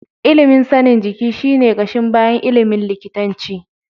Ilimin sanin jiki shi ne ƙashin bayan ilimin likitanci.